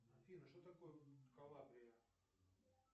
афина что такое калабрия